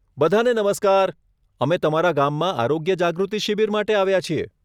બધાને નમસ્કાર, અમે તમારા ગામમાં આરોગ્ય જાગૃતિ શિબિર માટે આવ્યા છીએ.